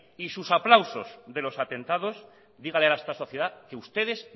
y sus aplausos de los atentados dígale a esta sociedad que ustedes